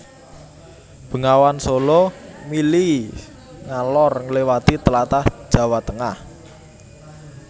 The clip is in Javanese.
Bengawan Sala mili ngalor ngliwati tlatah Jawa Tengah